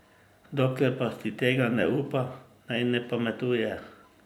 Dokler pa si tega ne upa, naj ne pametuje.